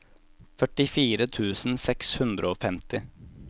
førtifire tusen seks hundre og femti